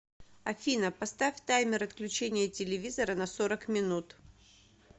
афина поставь таймер отключения телевизора на сорок минут